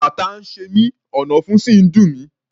Kàtá ń ṣe mí, ọ̀nàfun sì ń dùn mí.